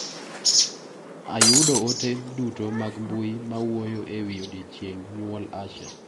Ayudo ote duto mag mbui mawuoyo ewi odiochieng' nyuol Asha.